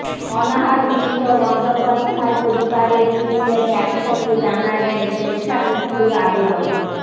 অনাহার ক্লিষ্ট বন্দ্যোপাধ্যায় পরিবারের তিনজনে একসঙ্গে জানালেন স্বেচ্ছামৃত্যুর আবেদন